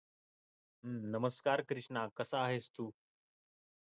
नमस्कार कृष्णा कसा आहेस तू